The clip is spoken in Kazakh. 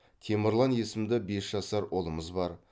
темірлан есімді бес жасар ұлымыз бар